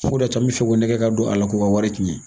Fo de y'a to an mi fɛ k'u nɛgɛ ka don a la k'u ka wari cɛn